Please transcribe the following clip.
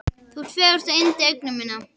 Þú ert fegursta yndi augna minna.